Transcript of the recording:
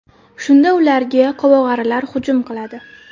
Shunda ularga qovog‘arilar hujum qiladi.